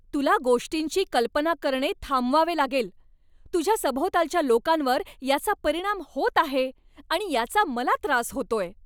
तुला गोष्टींची कल्पना करणे थांबवावे लागेल. तुझ्या सभोवतालच्या लोकांवर याचा परिणाम होत आहे आणि याचा मला त्रास होतोय.